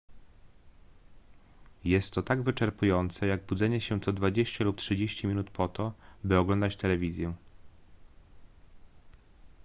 jest to tak wyczerpujące jak budzenie się co dwadzieścia lub trzydzieści minut po to by oglądać telewizję